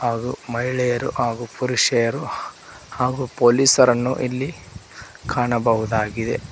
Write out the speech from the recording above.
ಅದು ಮಹಿಳೆಯರು ಹಾಗೂ ಪುರುಷರು ಹಾಗೂ ಪೊಲೀಸರನ್ನು ಇಲ್ಲಿ ಕಾಣಬಹುದಾಗಿದೆ.